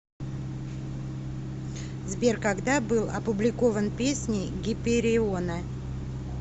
сбер когда был опубликован песни гипериона